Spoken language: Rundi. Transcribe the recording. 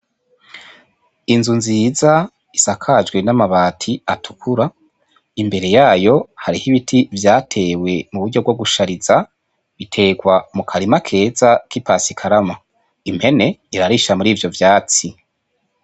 Inzu nziza isakajwe n'amabati atukura, imbere yayo hariho ibiti vyatewe mu buryo bwo gushariza, biterwa mu karima keza k'ipasikarama, impene irarisha mur'ivyo vyatsi.